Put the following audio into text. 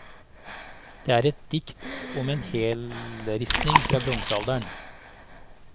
Det er et dikt om en helleristning fra bronsealderen.